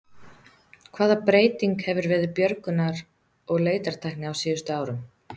Hvaða breyting hefur verið björgunar- og leitartækni á síðustu árum?